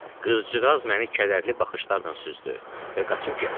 Qızcığaz məni kədərli baxışlarla süzdü və qaçıb getdi.